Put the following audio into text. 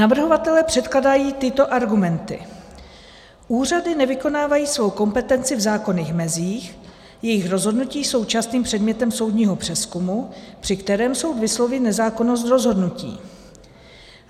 Navrhovatelé předkládají tyto argumenty: Úřady nevykonávají svou kompetenci v zákonných mezích, jejich rozhodnutí jsou častým předmětem soudního přezkumu, při kterém soud vysloví nezákonnost rozhodnutí.